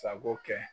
Sago kɛ